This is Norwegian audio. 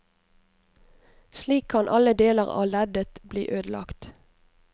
Slik kan alle deler av leddet bli ødelagt.